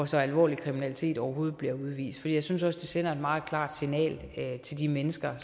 så alvorlig kriminalitet overhovedet ikke bliver udvist for jeg synes også det sender et meget klart signal til de mennesker